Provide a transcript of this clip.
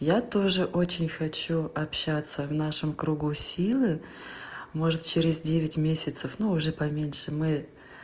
я тоже очень хочу общаться в нашем кругу силы может через девять месяцев но уже поменьше мы